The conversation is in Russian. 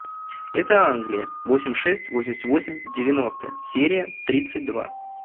это англия восемь шесть восемьдесят восемь девяностые серия тридцать два